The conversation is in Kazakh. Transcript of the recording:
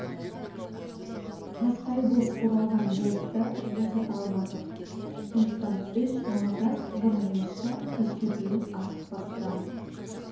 тастай боп бұралған болтты босата алмадық сондықтан үш малатас бұрынғымызша кешке дейін астық бастырамыз